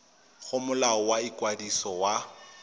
go molao wa ikwadiso wa